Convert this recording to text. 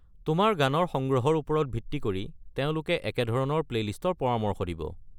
তোমাৰ গানৰ সংগ্ৰহৰ ওপৰত ভিত্তি কৰি তেওঁলোকে একেধৰণৰ প্লেইলিষ্টৰ পৰামৰ্শ দিব।